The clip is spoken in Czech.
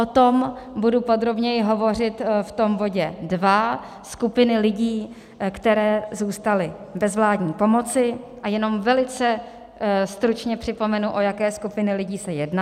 O tom budu podrobněji hovořit v tom bodě dva, skupiny lidí, které zůstaly bez vládní pomoci, a jenom velice stručně připomenu, o jaké skupiny lidí se jedná.